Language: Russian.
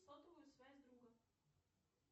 сотовую связь друга